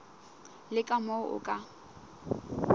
le ka moo o ka